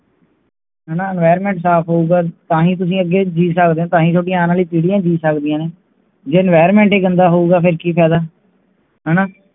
ਹੈਣਾ environment ਸਾਫ ਹੋਊਗਾ ਤਾਂ ਹੀ ਤੁਸੀਂ ਅੱਗੇ ਜੀ ਸਕਦੇ ਹੋ, ਤਾਂ ਹੈ ਤੁਹਾਡੀ ਆਉਣ ਵਾਲੀ ਪੀੜੀਆਂ ਜੀ ਸਕਦੀਆਂ ਨੇ ਜੇ environment ਹੀ ਗੰਦਾ ਹੋਊਗਾ ਫੇਰ ਕਿ ਫਾਇਦਾ ਹੈਣਾ